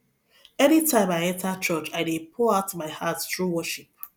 anytime i enter church i dey pour out my heart through worship